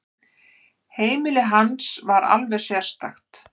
Heimili hans var alveg sérstakt.